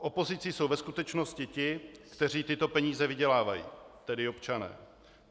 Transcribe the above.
Opozicí jsou ve skutečnosti ti, kteří tyto peníze vydělávají, tedy občané.